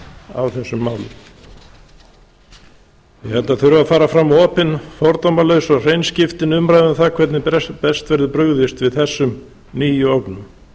á þessum málum ég held að það þurfi að fara fram opin fordómalaus og hreinskiptin umræða um það hvernig best verður brugðist við þessum nýju ógnum